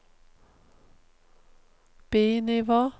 bi-nivå